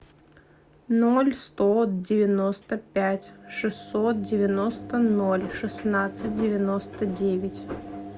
ноль сто девяносто пять шестьсот девяносто ноль шестнадцать девяносто девять